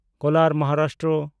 Kolar (Maharashtra)